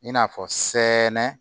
I n'a fɔ sɛnɛnɛ